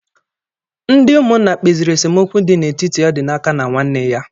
Ndị ụmụnna kpeziri esemokwu dị n'etiti Ọdịnaka na nwanne ya.